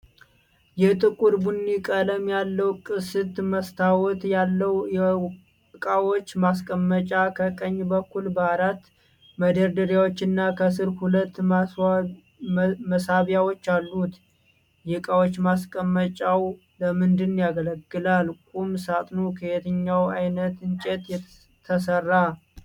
የጥቁር ቡኒ ቀለም ያለው፣ ቅስት መስታወት ያለው የእቃዎች ማስቀመጫ ከቀኝ በኩል በአራት መደርደሪያዎች እና ከስር ሁለት መሳቢያዎች አሉት። የእቃዎች ማስቀመጫው ለምን ያገለግላል? ቁም ሣጥኑ ከየትኛው ዓይነት እንጨት ተሰራ?